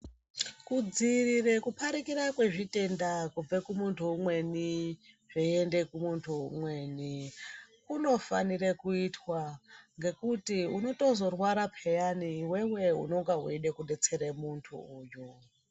Kudziirire kuparikira kwezvitenda kubve kumuntu umweni zveiende kumuntu umweni kunofanire kuitwa ngenkuti unotozorwara peyani iwewe u enge weide kudetserw muntu uyu.